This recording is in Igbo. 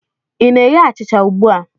ị na-eghe achịcha ugbu a?